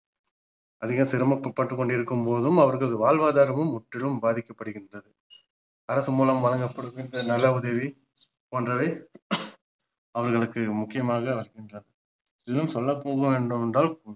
அதிக சிரமப்பட்டு கொண்டிருக்கும் போதும் அவர்கள் வாழ்வாதாரமும் முற்றிலும் பாதிக்கப்படுகிறது அரசு மூலம் வழங்கப்படும் திட்டம் நல உதவி போன்றவை அவர்களுக்கு முக்கியமாக இன்னும் சொல்ல போக வேண்டும் என்றால்